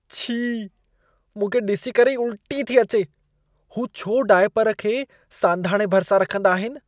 छी! मूंखे ॾिसी करे ई उल्टी थी अचे। हू छो दायपर खे सांधाणे भरिसां रखंदा आहिन?